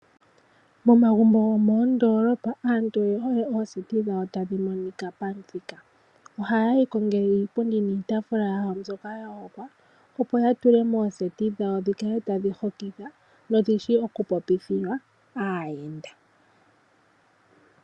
Momagumbo gomoondolopa aaantu oye hole ooseti dhawo tadhi monika pamuthika. Ohaye yi kongele iipundi niitafula mbyoka ya hongwa opo ya tule mooseti dhawo dhikale tadhi hokitha dho odhishi okupopithilwa aayenda.